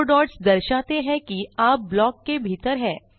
4 dots दर्शाते हैं कि आप ब्लॉक के भीतर हैं